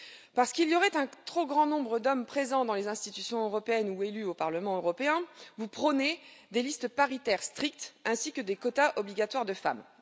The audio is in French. Parce qu'il y aurait un trop grand nombre d'hommes présents dans les institutions européennes ou élus au Parlement européen, vous prônez des listes paritaires strictes ainsi que des quotas obligatoires de femmes.